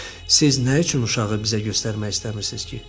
Siz nə üçün uşağı bizə göstərmək istəmirsiz ki?